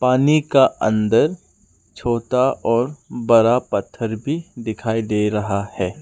पानी का अंदर छोटा और बड़ा पत्थर भी दिखाई दे रहा है।